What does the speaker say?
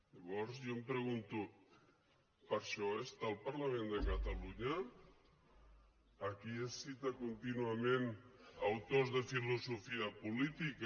llavors jo em pregunto per a això hi és el parlament de catalunya aquí es citen contínuament autors de filosofia política